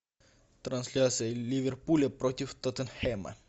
трансляция ливерпуля против тоттенхэма